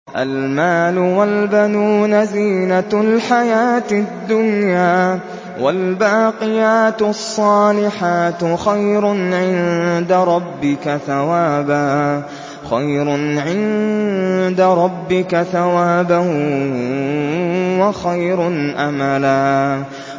الْمَالُ وَالْبَنُونَ زِينَةُ الْحَيَاةِ الدُّنْيَا ۖ وَالْبَاقِيَاتُ الصَّالِحَاتُ خَيْرٌ عِندَ رَبِّكَ ثَوَابًا وَخَيْرٌ أَمَلًا